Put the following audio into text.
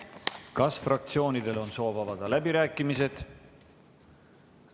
Kas fraktsioonidel on soov avada läbirääkimised?